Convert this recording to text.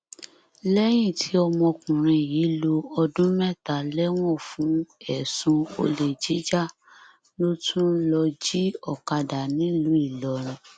lẹyìn tí ọmọkùnrin yìí lo ọdún mẹta lẹwọn fún ẹsùn olè jíjà ló tún lọọ jí ọkadà nílùú ìlọrin